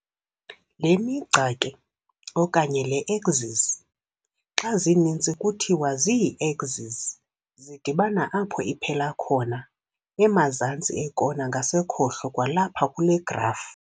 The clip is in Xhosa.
Le migca ke, okanye le-"axes", xa zininzi kuthiwa zii-axis, zidibana apho iphela khona, emazantsi ekona ngasekhohlo kwalapha kule graf.